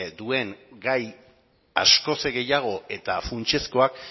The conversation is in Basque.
duen gai askoz ere gehiago eta funtsezkoak